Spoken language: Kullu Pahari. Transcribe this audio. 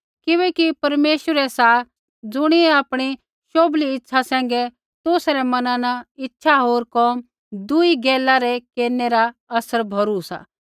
किबैकि परमेश्वर ही सा ज़ुणियै आपणी शोभली इच्छा सैंघै तुसा रै मना न इच्छा होर कोम दुई गैला रै केरनै रा असर भौरु सा